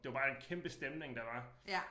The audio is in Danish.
Det var bare en kæmpe stemning der var